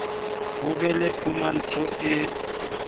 ho be le phumantsho e